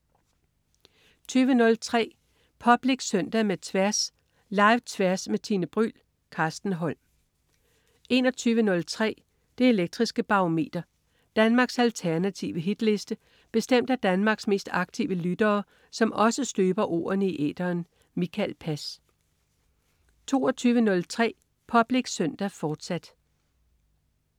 20.03 Public Søndag med Tværs. Live-Tværs med Tine Bryld. Carsten Holm 21.03 Det elektriske Barometer. Danmarks alternative hitliste bestemt af Danmarks mest aktive lyttere, som også støber ordene i æteren. Mikael Pass 22.03 Public Søndag, fortsat